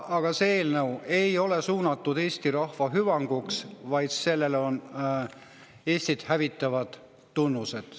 Aga see eelnõu ei ole suunatud Eesti rahva hüvanguks, vaid sellel on Eestit hävitavad tunnused.